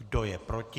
Kdo je proti?